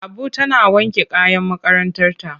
Abu tana wanke kayan makarantarta.